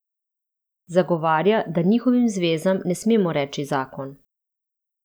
Zagovarja, da njihovim zvezam ne smemo reči zakon.